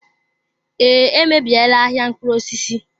Ee, emebiela ahịa mkpụrụ osisi.